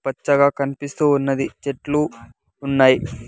పచ్చగా కనిపిస్తూ ఉన్నది చెట్లు ఉన్నాయి.